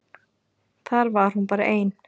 Þar var hún bara ein.